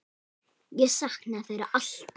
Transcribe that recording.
Ég saknaði þeirra alltaf.